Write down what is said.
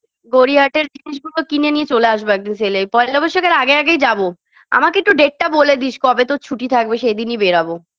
গড়িয়াহাটের জিনিসগুলো কিনে নিয়ে চলে আসব একদিন sale -এ পয়লা বৈশাখের আগে আগেই যাব আমাকে একটু date -টা বলে দিস কবে তোর ছুটি থাকবে সেই দিনই বেরাবো